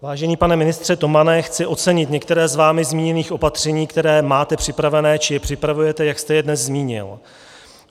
Vážený pane ministře Tomane, chci ocenit některá z vámi zmíněných opatření, která máte připravená či je připravujete, jak jste je dnes zmínil.